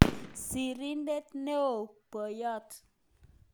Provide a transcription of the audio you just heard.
Sirindet neoo-poiyot